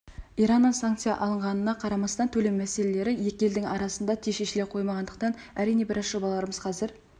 ираннан санкция алынғанына қарамастан төлем мәселелері екі елдің арасында тез шешіле қоймағандықтан әрине біраз жобаларымыз қазір